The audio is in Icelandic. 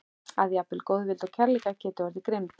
Að jafnvel góðvild og kærleikur geta orðið grimm.